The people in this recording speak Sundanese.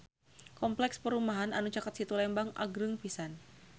Kompleks perumahan anu caket Situ Lembang agreng pisan